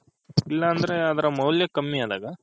ಇಲ್ಲ ಅಂದ್ರೆ ಅದರ್ ಮೌಲ್ಯ ಕಮ್ಮಿ ಅದಾಗ